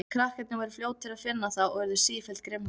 Krakkarnir voru fljótir að finna það og urðu sífellt grimmari.